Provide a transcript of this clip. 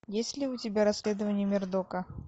есть ли у тебя расследования мердока